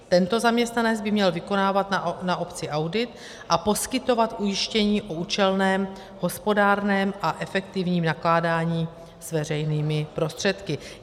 Tento zaměstnanec by měl vykonávat na obci audit a poskytovat ujištění o účelném, hospodárném a efektivním nakládání s veřejnými prostředky.